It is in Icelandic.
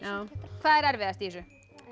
hvað er erfiðast í þessu